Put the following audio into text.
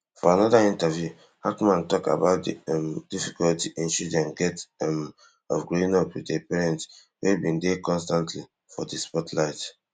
for anoda interview hackman tok about di um difficulty in children get um of growing up wit a parent wey bin dey constantly for di spotlight